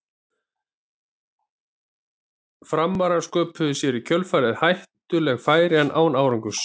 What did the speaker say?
Framarar sköpuðu sér í kjölfarið hættuleg færi en án árangurs.